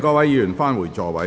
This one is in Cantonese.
請議員返回座位。